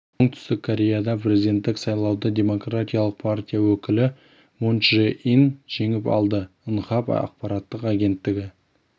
оңтүстік кореяда өткен президенттік сайлауды демократиялық партия өкілі мун чжэ ин жеңіп алды нхап ақпараттық агенттігі